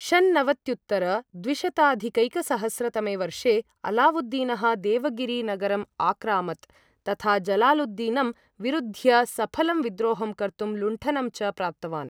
षन्नवत्युत्तरद्विशताधिकैकसहस्र तमे वर्षे, अलावुद्दीनः देवगिरि नगरम् आक्रामत्, तथा जलालुद्दीनं विरुद्ध्य सफलं विद्रोहं कर्तुं लुण्ठनं च प्राप्तवान्।